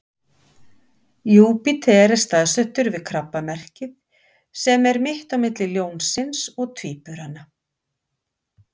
júpíter er staðsettur við krabbamerkið sem er mitt á milli ljónsins og tvíburana